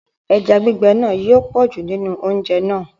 Ẹja gbígbẹ̀ náà yóò pọ̀jù nínú oúnjẹ̀ náà.